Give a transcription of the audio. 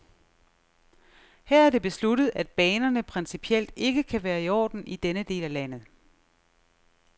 Her er det besluttet, at banerne principielt ikke kan være i orden i denne del af landet.